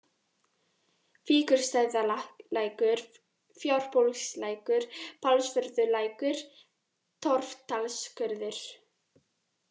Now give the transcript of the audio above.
Víkurstaðalækur, Fjárbólslækur, Pálsvörðulækur, Torfdalsskurður